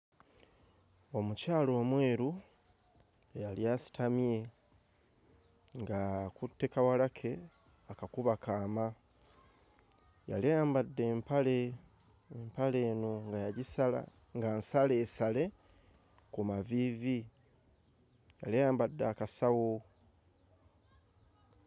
Omukyala omweru eyali asitamye ng'akutte kawala ke akakuba kaama yali ayambadde empale empale eno nga yagisala nga nsaleesale ku maviivi yali ayambadde akasawo.